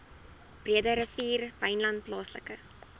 breederivier wynland plaaslike